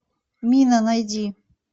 мина найди